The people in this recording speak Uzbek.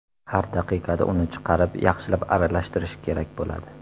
Har daqiqada uni chiqarib, yaxshilab aralashtirish kerak bo‘ladi.